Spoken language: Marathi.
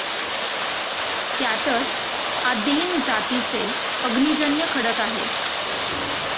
त्यातच आदैन जातीचे अग्निजन्य खडक आहेत.